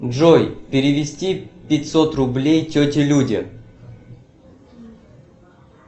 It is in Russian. джой перевести пятьсот рублей тете люде